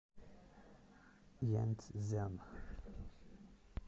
янцзян